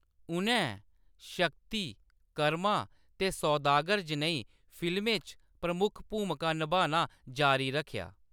उʼनैं 'शक्ति', 'कर्मा' ते 'सौदागर' जनेही फिल्में च प्रमुख भूमिकां नभाना जारी रक्खेआ।